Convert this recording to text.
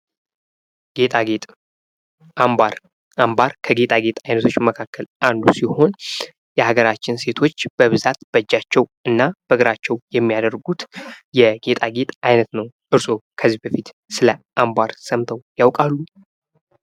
ጌጣጌጥ አምባር:- አምባር ከጌጣጌጥ አይነቶች መካከል አንዱ ሲሆን የአገራችን ሴቶች በብዛት በእጃቸዉ እና በእግራቸዉ የሚያደርጉት የጌጣጌጥ አይነት ነዉ። እርስዎ ስለ አምባር ሰምተዉ ያዉቃሉ?